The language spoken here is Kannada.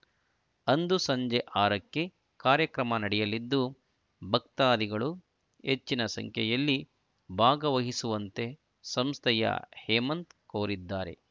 ಅಂದು ಸಂಜೆ ಆರಕ್ಕೆ ಕಾರ್ಯಕ್ರಮ ನಡೆಯಲಿದ್ದು ಭಕ್ತಾದಿಗಳು ಹೆಚ್ಚಿನ ಸಂಖ್ಯೆಯಲ್ಲಿ ಭಾಗವಹಿಸುವಂತೆ ಸಂಸ್ಥೆಯ ಹೇಮಂತ್‌ ಕೋರಿದ್ದಾರೆ